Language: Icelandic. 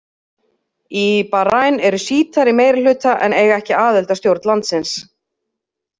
Í Bahrain eru Sjítar í meirihluta en eiga ekki aðild að stjórn landsins.